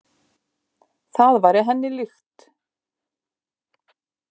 Það væri henni líkt.